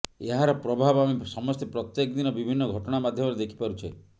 ଏହାର ପ୍ରଭାବ ଆମେ ସମସ୍ତେ ପ୍ରତ୍ୟେକ ଦିନ ବିଭିନ୍ନ ଘଟଣା ମାଧ୍ୟମରେ ଦେଖିପାରୁଛେ